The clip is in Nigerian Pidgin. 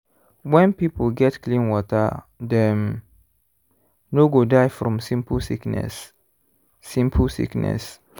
when people get clean water dem no go die from simple sickness. simple sickness.